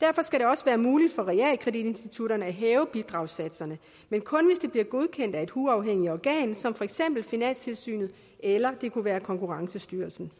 derfor skal det også være muligt for realkreditinstitutterne at hæve bidragssatserne men kun hvis det bliver godkendt af et uafhængigt organ som for eksempel finanstilsynet eller konkurrencestyrelsen